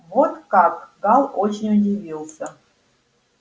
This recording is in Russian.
вот как гаал очень удивился